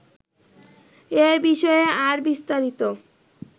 এ বিষয়ে আর বিস্তারিত